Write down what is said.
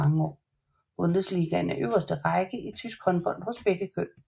Bundesligaen er øverste række i tysk håndbold hos begge køn